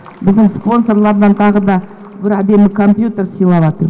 біздің спонсорлардан тағы да бір отдельный компьютер сыйлаватыр